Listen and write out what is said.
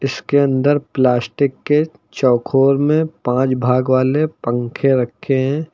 इसके अंदर प्लास्टिक के चौकोर में पांच भाग वाले पंखे रखे हैं।